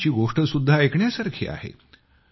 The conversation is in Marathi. त्यांची गोष्टसुद्धा ऐकण्यासारखी आहे